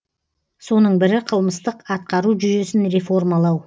соның бірі қылмыстық атқару жүйесін реформалау